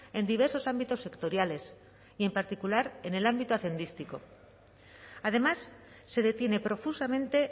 en diversos ámbitos sectoriales y en particular en el ámbito hacendístico además se detiene profusamente